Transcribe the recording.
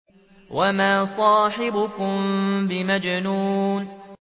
وَمَا صَاحِبُكُم بِمَجْنُونٍ